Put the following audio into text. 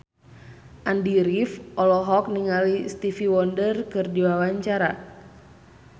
Andy rif olohok ningali Stevie Wonder keur diwawancara